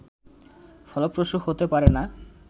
ফলপ্রসূ হতে পারে না